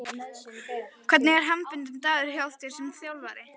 Hvernig er hefðbundinn dagur hjá þér sem þjálfari?